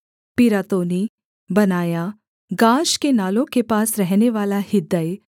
Pirathonite Benaiah Gaash के नालों के पास रहनेवाला हिद्दै